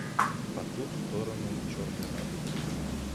по ту сторону черной радуги